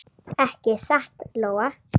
Ekki satt, Lóa?